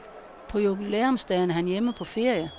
På jubilæumsdagen er han hjemme på ferie.